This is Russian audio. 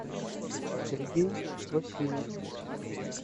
сергей васильев